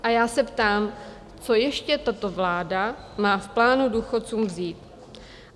A já se ptám, co ještě tato vláda má v plánu důchodcům vzít?